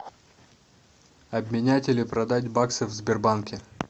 обменять или продать баксы в сбербанке